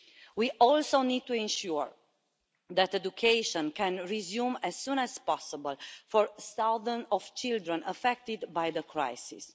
We also need to ensure that education can resume as soon as possible for thousands of children affected by the crisis.